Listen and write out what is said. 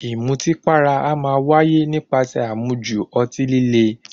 Ìmutípara a máa wáyé nípasẹ̀ àmujù ọtí líle.